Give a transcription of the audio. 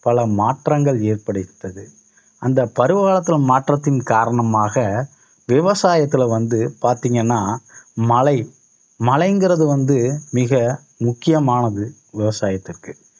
பல மாற்றங்கள் ஏற்படுத்தது. அந்த பருவ காலத்துல மாற்றத்தின் காரணமாக விவசாயத்துல வந்து பாத்தீங்கன்னா மழை மழைங்கிறது வந்து மிக முக்கியமானது விவசாயத்திற்கு